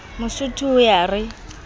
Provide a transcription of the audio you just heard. mosotho o ye a re